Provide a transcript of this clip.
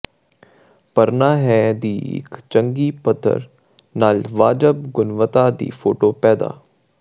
ਭਰਨਾ ਹੈ ਦੀ ਇੱਕ ਚੰਗੀ ਪੱਧਰ ਨਾਲ ਵਾਜਬ ਗੁਣਵੱਤਾ ਦੀ ਫੋਟੋ ਪੈਦਾ